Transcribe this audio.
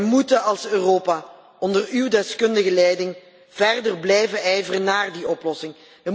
Wij moeten als Europa onder uw deskundige leiding verder blijven ijveren voor die oplossing.